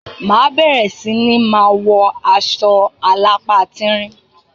Ma bere si ni ma wọ aṣọ alápá tíńrín